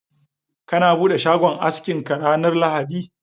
kana bude shagon askin ka ranar lahadi?.